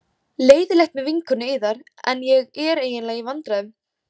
Leiðinlegt með vinkonu yðar en ég er eiginlega í vandræðum.